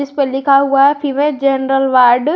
ऊपर लिखा हुआ है फीमेल जनरल वार्ड ।